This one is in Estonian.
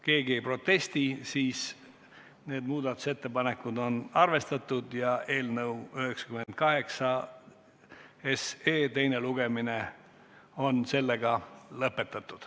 Kuna keegi ei protesti, on need muudatusettepanekud arvesse võetud ja eelnõu 98 teine lugemine lõpetatud.